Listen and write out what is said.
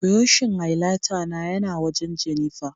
buroshin highlighter na ya na wajen Jennifer